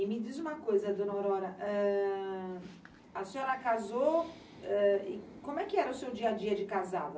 E me diz uma coisa, dona Aurora, eh a senhora casou, eh como é que era o seu dia-a-dia de casada?